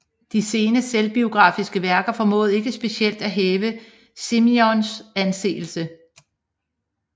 De sene selvbiografiske værker formåede ikke specielt at hæve Simenons anseelse